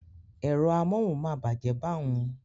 Ẹ̀rọ amóhùn máa bàjẹ́ bá hun